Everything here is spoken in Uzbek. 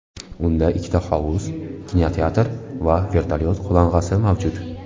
Unda ikkita hovuz, kinoteatr va vertolyot qo‘nalg‘asi mavjud.